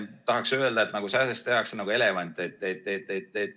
Tahaks öelda, et natukene tehakse nagu sääsest elevanti.